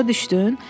Başa düşdün?